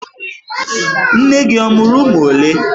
Nne gị ọ mụrụ ụmụ olee?